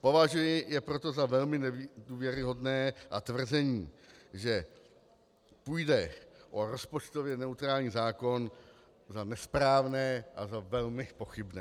Považuji je proto za velmi nedůvěryhodné a tvrzení, že půjde o rozpočtově neutrální zákon za nesprávné a za velmi pochybné.